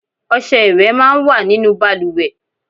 Ọṣẹ ìwẹ̀ máa ń wà nínú bàlùwẹ̀.